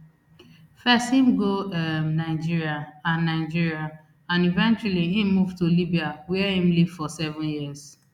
first im go um nigeria and nigeria and eventually im move to libya wia im live for seven years